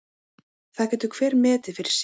Það getur hver metið fyrir sig.